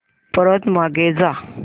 परत मागे जा